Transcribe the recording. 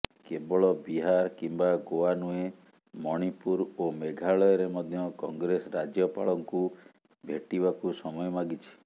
କେବଳ ବିହାର କିମ୍ବା ଗୋଆ ନୁହେଁ ମଣିପୁର ଓ ମେଘାଳୟରେ ମଧ୍ୟ କଂଗ୍ରେସ ରାଜ୍ୟପାଳଙ୍କୁ ଭେଟିବାକୁ ସମୟ ମାଗିଛି